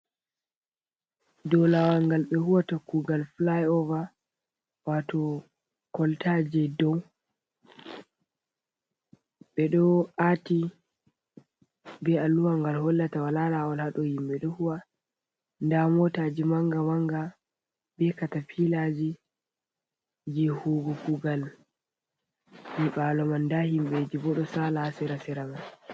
Ɗow lawal ngal ɓe huwata kugal filai over wato koltaje dow, ɓe ɗo ati be alluwa ngal hollata walalawol haɗo himɓe ɗo huwa, nda motaji manga manga be katafilaji je huu go kugal nyibalo man, nda himɓeji bo ɗo sala ha sira siraman.